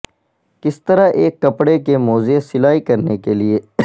کس طرح ایک کپڑے کے موزے سلائی کرنے کے لئے